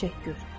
təşəkkür.